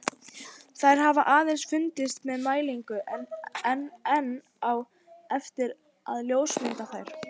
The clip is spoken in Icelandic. Þær hafa aðeins fundist með mælingum en enn á eftir að ljósmynda þær.